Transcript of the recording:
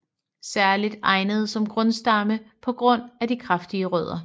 Særligt egnet som grundstamme på grund af de kraftige rødder